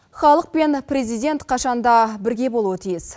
халық пен президент қашан да бірге болуы тиіс